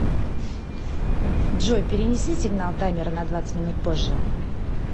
джой перенеси сигнал таймера на двадцать минут позже